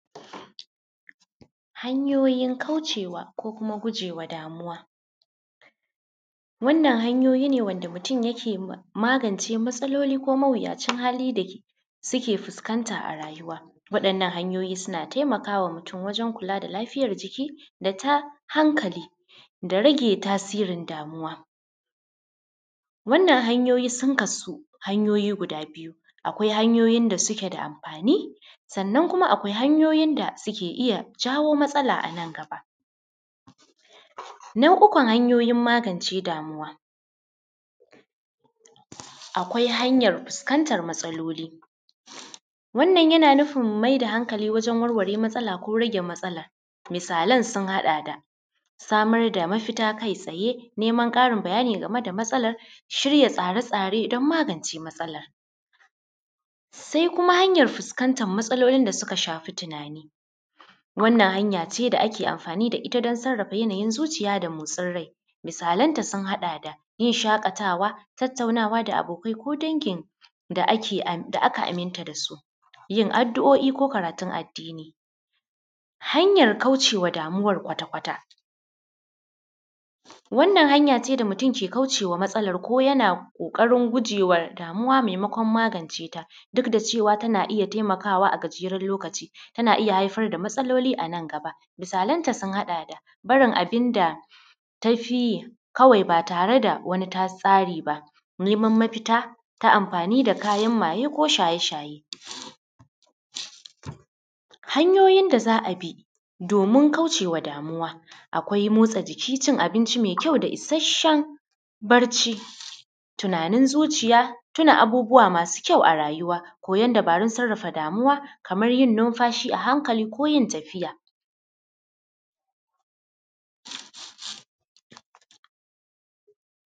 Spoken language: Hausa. Hanyoyin kaucewa ko kuma kujewa damuwa, wannan hanyoyi ne wanda mutum yake magance matsaloli ko mawiyacin hali da suke fuskanta a rayuwa, waɗannan hanyoyi suna taimaka wa mutum wajen kula da lafiyar jiki da ta hankali da rage tasirin damuwa, wannan hanyoyi sun kasu hanyoyi guda biyu, akwai hanyoyin da suke da amfani sannan kuma akwai hanyoyi da suke iya jawo matsala a nan gaba, na uku hanyoyin magance damuwa, akwai hanyar fuskantar matsaloli, wannan yana nufin mai da hankali wajen warware matsala ko rage matsala, misalan sun haɗa da samar da mafita kai tsaye, neman karin bayani game da matsalar, shirya tsare-tsare don magance matsalar, sai kuma hanyar fuskantar matsalolin da suka shafi tunani wannan hanya ce da ake amfani da ita don sarafa yanayin zuciya da motsin rai, misalan ta sun haɗa da yin shakatawa, tattaunawa da abokanai ko dangin da aka aminta da su, yin addu’o’i ko karatun addini. Hanyar kaucewa damuwar kwata-kwata, wannan hanya ce da mutum ke kaucewa matsalar ko yana kokarin guje wa damuwa maimakwan magance ta duk da cewa tana iya taimakawa a gajeran lokaci tana iya haifar da matsaloli a nan gaba, misalanta sun haɗa da barin abin da ta fiye kawai ba tare da wani ta tsare ba, neman mafita ta amfani da kayan maye ko shaye-shaye, hanyoyin da za a bi domin kaucewa damuwa akwai motsa jiki, cin abinci mai kyau da isasshen bacci, tunanin zuciya, tuna abubuwa masu kyau a rayuwa, koyan dabarun sarafa damuwa kamar yin nunfashi a hankali ko yin tafiya.